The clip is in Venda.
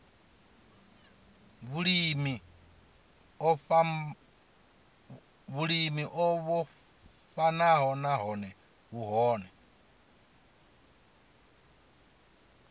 vhulimi o vhofhanaho nahone vhune